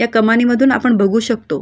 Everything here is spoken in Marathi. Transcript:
या कमाणीमधून आपण बघू शकतो.